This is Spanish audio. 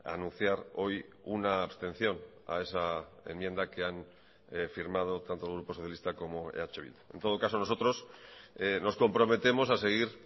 anunciar hoy una abstención a esa enmienda que han firmado tanto el grupo socialista como eh bildu en todo caso nosotros nos comprometemos a seguir